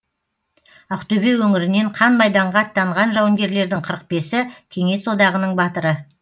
ақтөбе өңірінен қан майданға аттанған жауынгерлердің қырық бесі кеңес одағының батыры